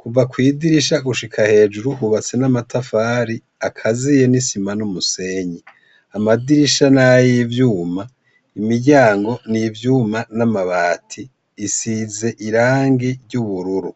Kuva kw'idirisha gushika hejuru hubatse n'amatafari akaziye n'isima n'umusenyi. Amadirisha nay'ivyuma, imiryango n'ivyuma n'amabati bisize irangi ry'ubururu.